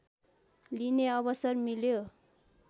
लिने अवसर मिल्यो